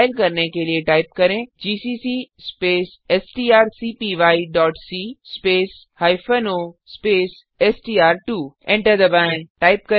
compile करने के लिए टाइप करें जीसीसी स्पेस strcpyसी स्पेस हाइफेन ओ स्पेस str2एंटर दबाएँ